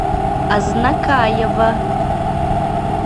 азнакаево